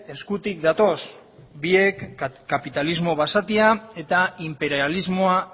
eskutik datoz biek kapitalismo basatia eta inperialismoa